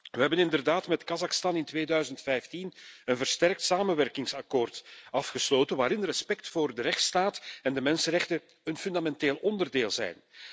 We hebben inderdaad met Kazachstan in 2015 een versterkt samenwerkingsakkoord gesloten waarin respect voor de rechtsstaat en de mensenrechten een fundamenteel onderdeel zijn.